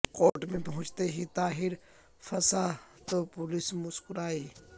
court میں پہنچتے ہی طاہر پھنسا تو پولیس مسکرائی